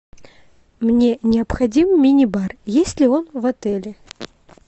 мне необходим мини бар есть ли он в отеле